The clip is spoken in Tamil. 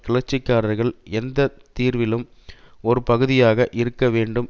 கிளர்ச்சிக்காரர்கள் எந்த தீர்விலும் ஒரு பகுதியாக இருக்க வேண்டும்